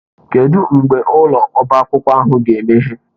Kedụ mgbe ụlọ ọbá akwụkwọ ahụ ga-emeghe?